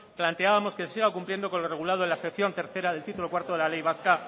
planteábamos que se siga cumpliendo con lo regulado en la sección tercero del título cuarto de la ley vasca